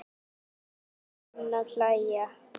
Júlía enn að hlæja.